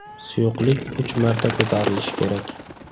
Suyuqlik uch marta ko‘tarilishi kerak.